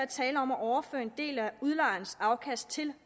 tale om at overføre en del af udlejerens afkast til